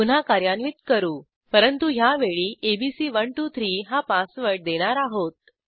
पुन्हा कार्यान्वित करू परंतु ह्यावेळी एबीसी123 हा पासवर्ड देणार आहोत